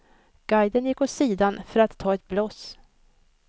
Guiden gick åt sidan för att ta ett bloss.